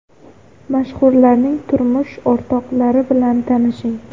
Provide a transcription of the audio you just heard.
Mashhurlarning turmush o‘rtoqlari bilan tanishing .